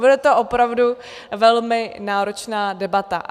Bude to opravdu velmi náročná debata.